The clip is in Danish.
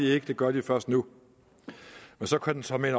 ikke det gør den først nu og så kan den såmænd